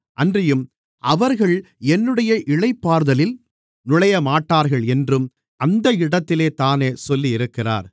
அன்றியும் அவர்கள் என்னுடைய இளைப்பாறுதலில் நுழையமாட்டார்கள் என்றும் அந்த இடத்திலேதானே சொல்லியிருக்கிறார்